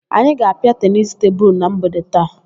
Anyị ga-apịa tenisi tebulu na mgbede taa.